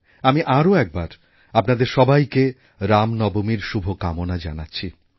আমি আরও একবার আপনাদের সবাইকে রামনবমীর শুভকামনা জানাচ্ছি